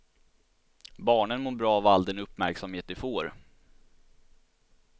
Barnen mår bra av all den uppmärksamhet de får.